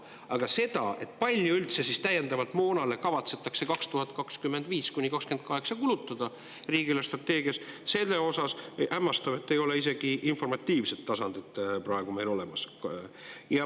Aga selle kohta, kui palju üldse täiendavalt moonale kavatsetakse 2025–2028 kulutada riigi eelarvestrateegias, hämmastav, ei ole praegu meil isegi informatiivset tasandit olemas.